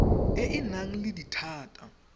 e e nang le dithata